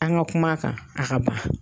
An ka kuma a kan a ka ban.